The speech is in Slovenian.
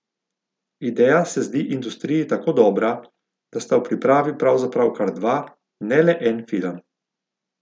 Ideja se zdi industriji tako dobra, da sta v pripravi pravzaprav kar dva, ne le en film.